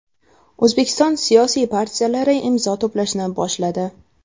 O‘zbekiston siyosiy partiyalari imzo to‘plashni boshladi.